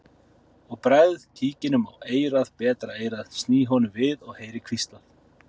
Ég bregð kíkinum á eyrað betra eyrað sný honum við og heyri hvíslað